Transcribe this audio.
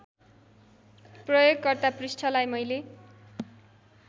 प्रयोगकर्ता पृष्ठलाई मैले